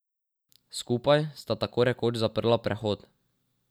Skupaj sta tako rekoč zaprla prehod.